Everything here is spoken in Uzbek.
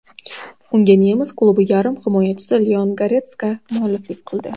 Unga nemis klubi yarim himoyachisi Leon Goretska mualliflik qildi.